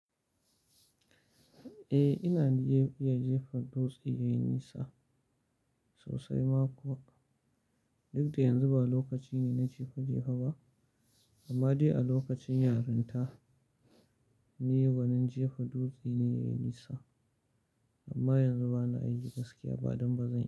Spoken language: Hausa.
Eh, ina iya jefa dutse yayi nisa sosai ma kuwa. Duk da yanzu ba lokaci ne na jefa jefa ba, amma dai a lokacin yaranta ni gwanin jefa dutse ne yayi nisa. Amma yanzu bana ajiye gaskiya ba don ba zan yi ba.